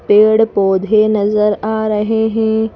पेड़-पौधे नजर आ रहे हैं।